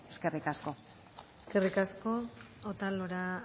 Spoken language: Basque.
eskerrik asko eskerrik asko otalora